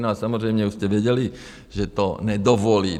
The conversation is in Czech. No a samozřejmě už jste věděli, že to nedovolí.